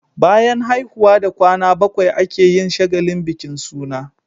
Bayan haihuwa da kwana bakwai ake yin shagalin bikin suna